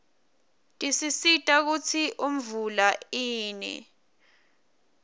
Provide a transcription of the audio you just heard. tisisita kutsi imvula ine